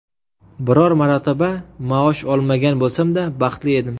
Biror marotaba maosh olmagan bo‘lsam-da, baxtli edim.